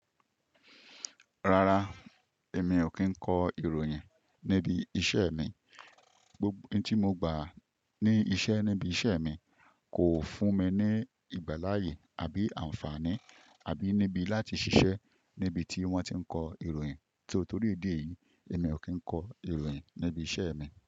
Rara, èmi o kín kọ ìròyìn nibi iṣẹ́ mi. N tí mo gbà ní iṣẹ́ níbi iṣẹ́ mi kò fún mi ní ìgbà láàyè àbí àǹfààní, àbí níbi láti ṣiṣẹ́ ní ibi tí wón ti ń kọ ìròyìn. Torí ìdí èyí, èmi o kín kọ ìròyìn ní ibi iṣẹ́ mi.